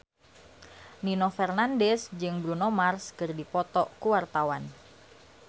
Nino Fernandez jeung Bruno Mars keur dipoto ku wartawan